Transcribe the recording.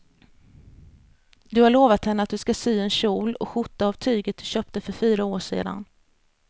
Du har lovat henne att du ska sy en kjol och skjorta av tyget du köpte för fyra år sedan.